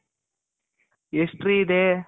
ಎಷ್ಟ್ರಿ ಇದೆ.